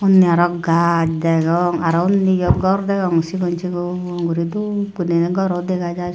unni aro gajch degong aro unniyo gor degong sigon sigon guri dub guriney goro degajai.